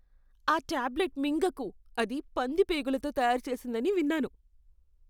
ఆ టాబ్లెట్ మింగకు. అది పంది పేగులతో తయారు చేసిందని విన్నాను.